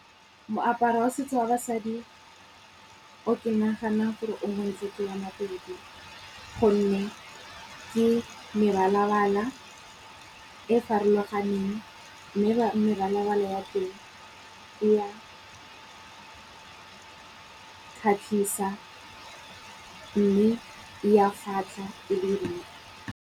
Moaparo wa setso wa basadi o ke nagana gore o montle ke wa Mapedi, gonne ke mebalabala e farologaneng mme mebalabala ya teng e ya kgatlhisa mme ya fatlha e be